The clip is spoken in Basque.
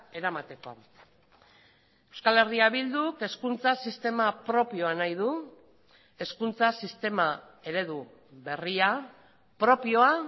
eramateko euskal herria bilduk hezkuntza sistema propioa nahi du hezkuntza sistema eredu berria propioa